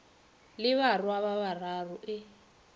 le barwa ba bararo e